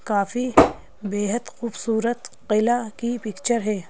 काफी बेहद खूबसूरत महिला की पिक्चर है।